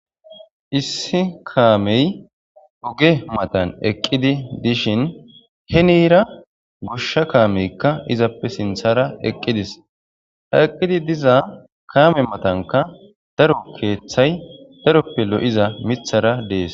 issi kaamey uge matan eqqidi dishin henira goshsha kaameykka izappe sinthara eqqidis ha eqqidi diza kaame matanka daro keeththay daroppe lo7iza mithara dees